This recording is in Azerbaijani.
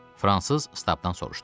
Fransız Stabdan soruşdu.